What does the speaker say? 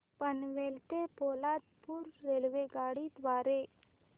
पनवेल ते पोलादपूर रेल्वेगाडी द्वारे